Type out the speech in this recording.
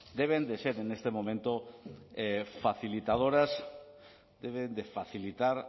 deben de ser en este momento facilitadoras deben de facilitar